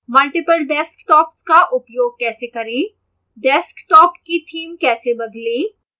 multiple desktops का उपयोग कैसे करें